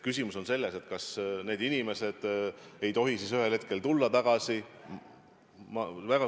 Küsimus on selles, kas need inimesed ei tohi siis ühel hetkel tagasi tulla.